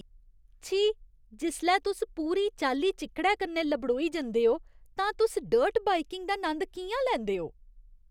छी। जिसलै तुस पूरी चाल्ली चिक्कड़ै कन्नै लबड़ोई जंदे ओ तां तुस डर्ट बाइकिंग दा नंद कि'यां लैंदे ओ?